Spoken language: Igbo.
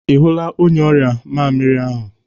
Ị hụla onye ọrịa mamịrị ahụ?